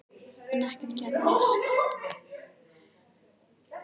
En ekkert gerðist.